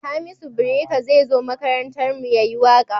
Hamisu breaker zai zo makarantar mu ya yi waƙa